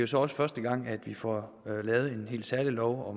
så også første gang vi får lavet en helt særlig lov